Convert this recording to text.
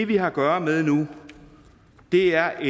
vi har at gøre med nu er